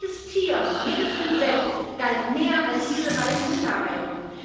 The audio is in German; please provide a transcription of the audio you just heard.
Jedes Tier, jedes Insekt galt mehr als diese beiden Minderheiten.